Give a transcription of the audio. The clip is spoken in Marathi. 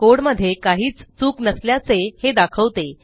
कोड मध्ये काहीच चूक नसल्याचे हे दाखवते